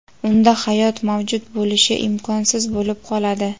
unda hayot mavjud bo‘lishi imkonsiz bo‘lib qoladi.